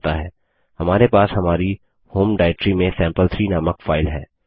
हमारे पास हमारी होम डाइरेक्टरी में सैंपल3 नामक फाइल है